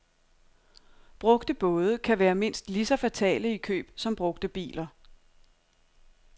Brugte både kan være mindst lige så fatale i køb som brugte biler.